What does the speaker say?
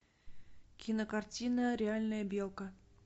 кинокартина реальная белка